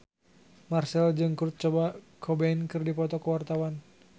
Marchell jeung Kurt Cobain keur dipoto ku wartawan